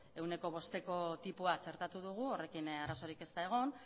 ehuneko bosteko tipoa txertatu dugu horrekin arazorik ez da egon